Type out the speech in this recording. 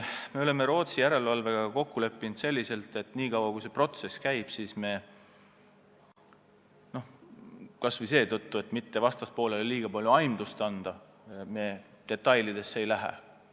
Me oleme Rootsi järelevalvega kokku leppinud, et nii kaua, kui see protsess käib, me – kas või seetõttu, et mitte vastaspoolele liiga palju aimdust anda – detailidesse ei lähe.